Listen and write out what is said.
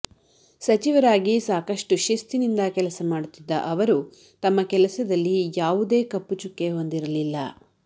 ಸಚಿವರಾಗಿ ಸಾಕಷ್ಟು ಶಿಸ್ತಿನಿಂದ ಕೆಲಸ ಮಾಡುತ್ತಿದ್ದ ಅವರು ತಮ್ಮ ಕೆಲಸದಲ್ಲಿ ಯಾವುದೇ ಕಪ್ಪುಚುಕ್ಕೆ ಹೊಂದಿರಲಿಲ್ಲ